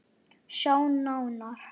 Sjá nánar